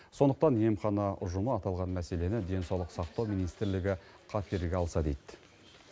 сондықтан емхана ұжымы аталған мәселені денсаулық сақтау министрлігі қаперге алса дейді